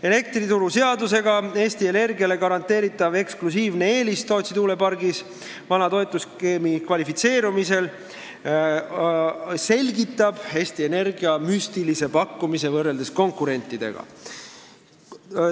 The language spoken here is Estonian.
Elektrituruseadusega Eesti Energiale garanteeritav eksklusiivne eelis, mille annab Tootsi tuulepargis vana toetusskeemi kasutamine, selgitab, kuidas sai Eesti Energia teha nii müstilise pakkumise võrreldes konkurentide omaga.